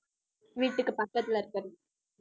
வீட்டுக்கு பக்கத்துல இருக்கறது